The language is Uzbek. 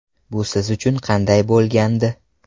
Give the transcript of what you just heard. Bu siz uchun qanday bo‘lgandi?